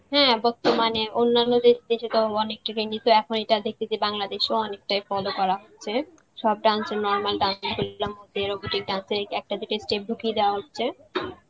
হ্যাঁ বর্তমানে অন্যান্য যে সেটাও অনেক trendy তো এখন এটা দেখতেছি বাংলাদেশেও অনেকটাই follow করা হচ্ছে সব dance, normal dance মধ্যে robotic dance এর একটা দুটা স্টেপ ঢুকিয়ে দেওয়া হচ্ছে.